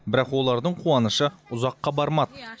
бірақ олардың қуанышы ұзаққа бармады